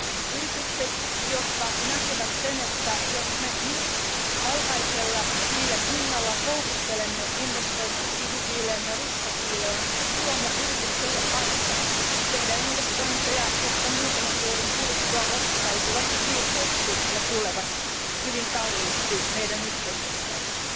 Yritykset, jotka näkevät sen, että jos me nyt alhaisella hiilen hinnalla houkuttelemme investoimaan kivi ja ruskohiileen, luomme yritykselle ansan tehdä investointeja, jotka muutaman vuoden kuluttua osoittautuvat virheeksi ja tulevat hyvin kalliiksi meidän yhteiskunnallemme.